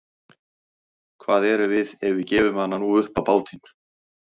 Hvað erum við ef við gefum hana nú upp á bátinn?